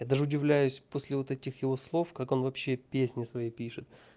я даже удивляюсь после вот этих его слов как он вообще песни свои пишет